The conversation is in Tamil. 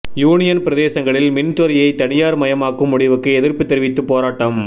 யூனியன் பிரதேசங்களில் மின்துறையை தனியார் மயமாக்கும் முடிவுக்கு எதிர்ப்பு தெரிவித்து போராட்டம்